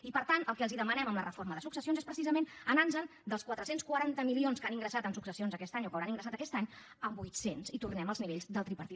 i per tant el que els demanem en la reforma de successions és precisament anarnos en dels quatre cents i quaranta milions que han ingressat en successions aquest any o que ingressaran aquest any a vuit cents i tornem als nivells del tripartit